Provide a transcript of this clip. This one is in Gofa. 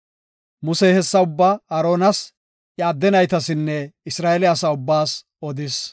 Musey hessa ubbaa Aaronas, iya adde naytasinne Isra7eele asa ubbaas odis.